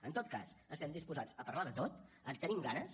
en tot cas estem disposats a parlar de tot en tenim ganes